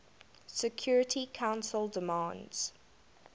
security council demands